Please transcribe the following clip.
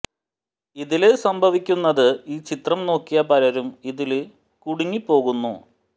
ഇതില് സംഭവിക്കുന്നത് ഈ ചിത്രം നോക്കിയ പലരും ഇതില് കുടുങ്ങിപ്പോകുന്നു